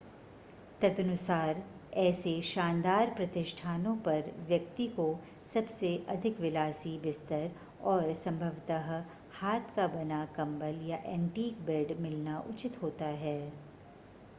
तदनुसार ऐसे शानदार प्रतिष्ठानों पर व्यक्ति को सबसे अधिक विलासी बिस्तर और संभवतः हाथ का बना कंबल या ऐंटीक बेड मिलना उचित होता है